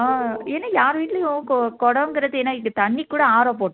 அஹ் ஏன்னா யார் வீட்டிலேயும் குட குடங்கிறது ஏன்னா இது தண்ணி கூட ஆரோ போட்